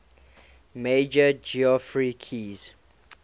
major geoffrey keyes